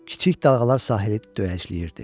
Kiçik dalğalar sahili döyəcləyirdi.